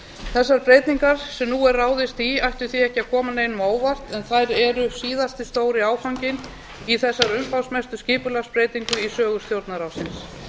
þessar breytingar sem hér er ráðist í ættu því ekki að koma neinum á óvart en þær eru síðasti stóri áfanginn í þessari umfangsmestu skipulagsbreytingu í sögu stjórnarráðsins